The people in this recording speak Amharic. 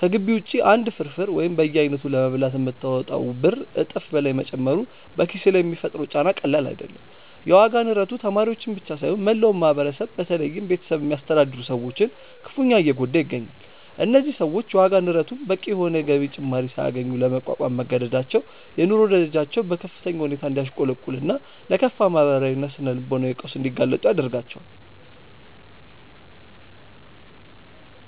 ከግቢ ውጪ አንድ ፍርፍር ወይም በየአይነቱ ለመብላት የምታወጣው ብር እጥፍ በላይ መጨመሩ በኪስህ ላይ የሚፈጥረው ጫና ቀላል አይደለም። የዋጋ ንረቱ ተማሪዎችን ብቻ ሳይሆን መላውን ማህበረሰብ በተለይም ቤተሰብ የሚያስተዳድሩ ሰዎችን ክፉኛ እየጎዳ ይገኛል። እነዚህ ሰዎች የዋጋ ንረቱን በቂ የሆነ የገቢ ጭማሪ ሳያገኙ ለመቋቋም መገደዳቸው የኑሮ ደረጃቸው በከፍተኛ ሁኔታ እንዲያሽቆለቁልና ለከፋ ማህበራዊና ስነ-ልቦናዊ ቀውስ እንዲጋለጡ ያደርጋቸዋል።